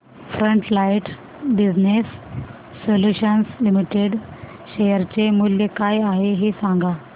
frontline business solutions limited share चे मूल्य काय आहे हे सांगा